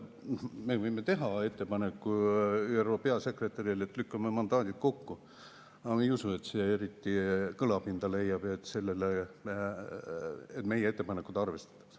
Me võime teha ÜRO peasekretärile ettepaneku, et lükkame mandaadid kokku, aga ma ei usu, et see eriti kõlapinda leiaks ja et meie ettepanekut arvestataks.